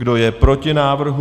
Kdo je proti návrhu?